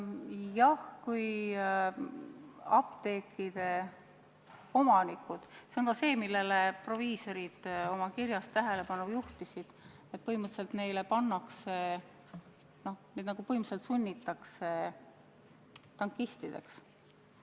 Jah, see on, kui apteekide omanikud – sellele juhtisid ka proviisorid oma kirjas tähelepanu – põhimõtteliselt sunnitakse tankistideks.